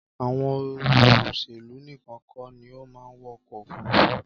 Àwọn olóṣèlú níkan kọ́ ni ó máa ń wọkọ̀ òfurufu